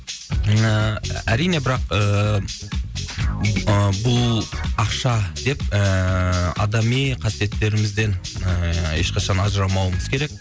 ііі әрине бірақ ііі бұл ақша деп ііі адами қасиеттерімізден ііі ешқашан ажырамауымыз керек